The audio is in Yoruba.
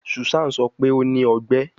Susan sọ pe o ni ọgbẹ